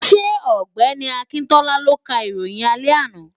Ṣé ọ̀gbẹ́ni Akíntọ́lá ló ka ìròyìn àṣálẹ́ àná?